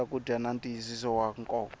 swakudya na ntiyisiso wa nkoka